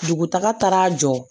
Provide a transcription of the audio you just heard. Dugu taga jɔ